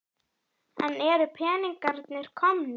En eru peningarnir komnir?